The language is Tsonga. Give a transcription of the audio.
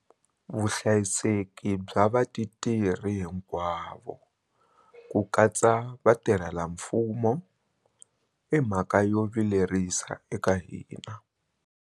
Vuhlayiseki bya vatirhi hinkwavo, ku katsa vatirhelamfumo, i mhaka yo vilerisa eka hina.